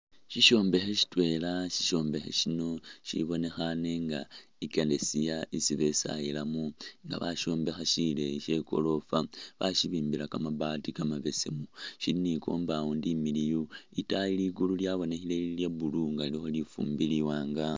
Shishombekhe shitwela sishombekhe shino shibonekhane nga ikeresiya isi besayilamo nga bashombekha sileyi she'goorofa, bashibimbila kamabaati kamabesemu shili ni'compound imiliyu itaayi ligulu lyabonekhile Lili lya'blue nga lilikho lifumbi liwanga